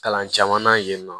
Kalan caman na yen nɔ